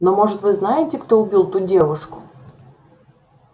но может вы знаете кто убил ту девушку